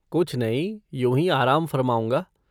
कुछ नहीं, यूँ ही आराम फ़रमाऊँगा।